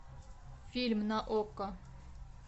фильм на окко